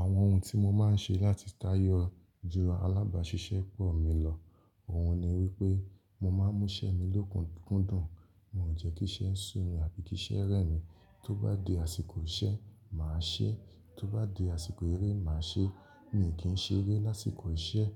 Àwọn ohun tí mo máa ń ṣe láti táyọ ju alábàáṣiṣẹ́pọ̀ mi lọ, òun ni wípé mo máa ń mú iṣẹ́ mi lókun kúndùn. Mo ò jẹ́ kíṣẹ́ sú mi àbí kíṣẹ́ rẹ̀ mí. Tó bá di àsìkò iṣẹ́, màá ṣeé. Tó bá di àsìkò eré, màá ṣeé. Mi kí ń ṣeré lásìkò iṣẹ́.